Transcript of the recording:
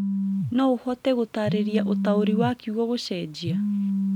no ũhote gũtaarĩria ũtaũri wa kiugo gũcenjia